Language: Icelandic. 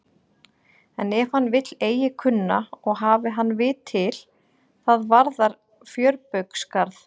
En ef hann vill eigi kunna og hafi hann vit til, það varðar fjörbaugsgarð.